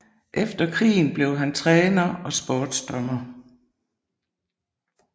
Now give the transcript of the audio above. Efter krigen blev han træner og sportsdommer